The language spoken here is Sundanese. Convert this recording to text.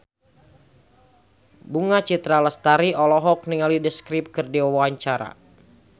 Bunga Citra Lestari olohok ningali The Script keur diwawancara